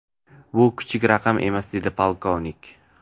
Bu kichik raqam emas”, dedi podpolkovnik.